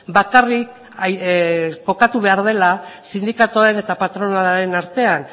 bakarrik kokatu behar dela sindikatuaren eta patronalaren artean